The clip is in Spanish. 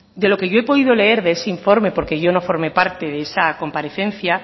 de lo que yo he podido leer de ese informe porque yo no formé parte de esa comparecencia